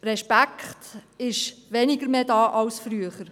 Es ist weniger Respekt vorhanden als früher.